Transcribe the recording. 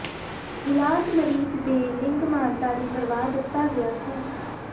ਇਲਾਜ ਮਰੀਜ਼ ਦੇ ਲਿੰਗ ਮਾਨਤਾ ਦੀ ਪਰਵਾਹ ਦਿੱਤਾ ਗਿਆ ਹੈ